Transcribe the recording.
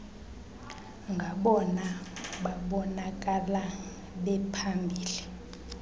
ngabona babonakala bephambili